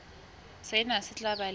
sena se tla ba le